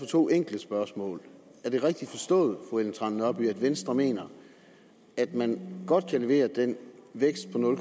to enkle spørgsmål er det rigtigt forstået fru ellen trane nørby at venstre mener at man godt kan levere den vækst på nul